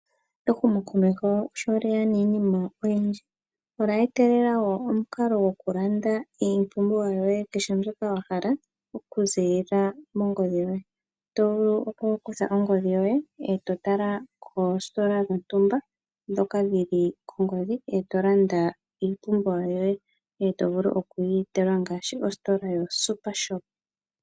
Ehumokomeho sho lyeya niinima oyindji, olya etelela wo omukalo goku landa iipumbiwa yoye kehe mbyoka wa hala, oku ziilila mongodhi yoye, to vulu oku kutha ongodhi yoye, e to tala koositola dhontumba ndhoka dhili kongodhi e to landa iipumbiwa yoye, e to vulu oku yi etelwa ngaashi ositola yoSuper Shop.